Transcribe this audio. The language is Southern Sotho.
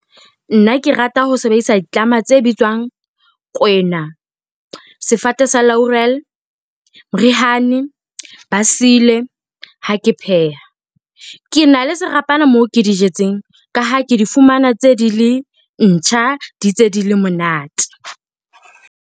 Nna ke rata ho sebedisa ditlama tse bitswang kwena, sefate sa , berihani, ba sile ha ke pheha, ke na le serapana moo ke di jetseng ka ha ke di fumana ntse di le ntjha, di ntse di le monate.